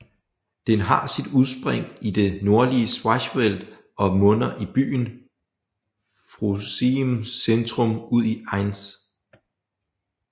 Den har sit udspring i det nordlige Schwarzwald og munder i byen Pforzheims centrum ud i Enz